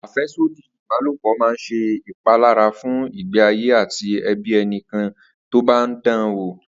Àfé̩sódì ìbálòpò máa ń s̩e ìpalára fún ìgbé ayé àti e̩bí e̩niké̩ni tó bá ń dan wò